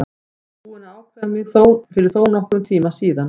Ég er búinn að ákveða mig fyrir þónokkrum tíma síðan.